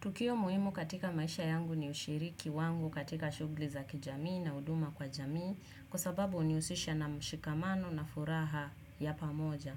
Tukio muhimu katika maisha yangu ni ushiriki wangu katika shughuli za kijamii na huduma kwa jamii kwa sababu hunihusisha na mshikamano na furaha ya pamoja.